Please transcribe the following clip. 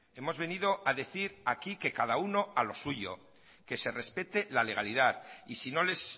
hemos venido a decir aquí que cada uno a lo suyo que se respete la legalidad y si no les